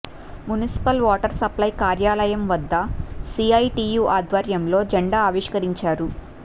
municipal water supply కార్యాలయం వద్ద CITU ఆధ్వర్యంలో జెండా ఆవిష్కరించారు